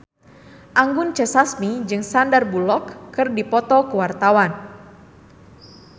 Anggun C. Sasmi jeung Sandar Bullock keur dipoto ku wartawan